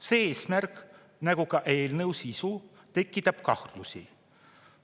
See eesmärk nagu ka eelnõu sisu tekitab kahtlusi.